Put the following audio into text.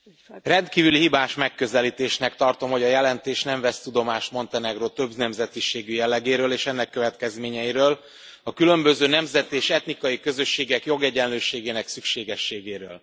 Elnök Asszony! Rendkívül hibás megközelítésnek tartom, hogy a jelentés nem vesz tudomást Montenegró többnemzetiségű jellegéről és ennek következményeiről, a különböző nemzeti és etnikai közösségek jogegyenlőségének szükségességéről.